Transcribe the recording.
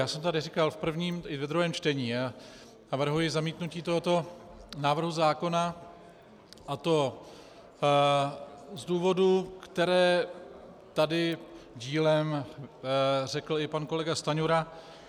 Já jsem tady říkal v prvním i ve druhém čtení, navrhuji zamítnutí tohoto návrhu zákona, a to z důvodů, které tady dílem řekl i pan kolega Stanjura.